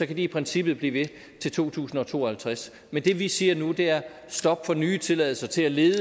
de i princippet blive ved til to tusind og to og halvtreds men det vi siger nu er stop for nye tilladelser til at lede